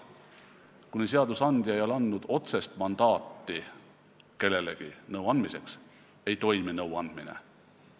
Kuni seadusandja ei ole andnud kellelegi nõu andmiseks otsest mandaati, nõuandmine ei toimi.